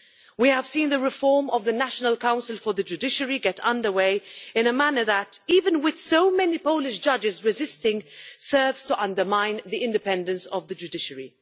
We have seen the reform of the National Council for the Judiciary get underway in a manner that, even with so many Polish judges resisting, serves to undermine the independence of the judiciary.